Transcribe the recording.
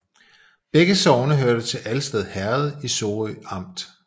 Begge sogne hørte til Alsted Herred i Sorø Amt